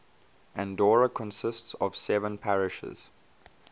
andorra consists of seven parishes